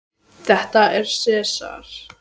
Þetta er Sesar.